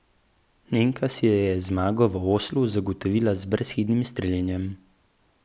Nemka si je zmago v Oslu zagotovila z brezhibnim streljanjem.